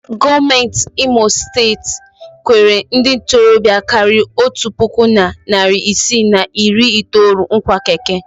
Gọọmentị imo steeti kwere ndị ntorobịa karịrị otu puku na narị isii na iri itoolu nkwa keke.